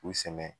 K'u sɛmɛ